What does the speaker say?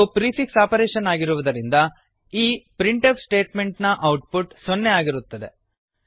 ಇದು prefix operation ಆಗಿರುವುದರಿಂದ ಈ ಪ್ರಿಂಟ್ಫ್ ಸ್ಟೇಟ್ಮೆಂಟ್ ನ ಔಟ್ ಪುಟ್ ಸೊನ್ನೆ ಆಗಿರುತ್ತದೆ